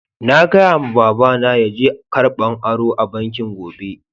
Na gaya ma baba na yaje karɓan aro a'banki gobe.